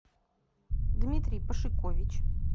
дмитрий пашикович